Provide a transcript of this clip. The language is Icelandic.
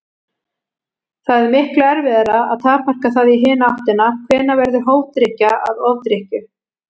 Það er miklu erfiðara að takmarka það í hina áttina: Hvenær verður hófdrykkja að ofdrykkju?